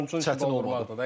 Hücumçunun belə qol vuranlardı.